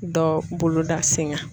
Dɔ boloda sen ŋa.